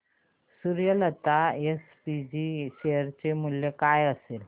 Suryalata SPG share चे मूल्य काय असेल